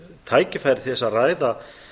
tækifæri til þess að ræða